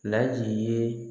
Laji ye